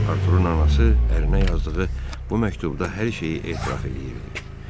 Arturun anası ərinə yazdığı bu məktubda hər şeyi etiraf eləyirdi.